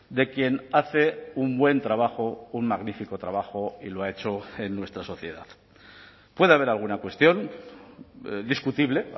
de quien hace un buen trabajo un magnífico trabajo y lo ha hecho en nuestra sociedad puede haber alguna cuestión discutible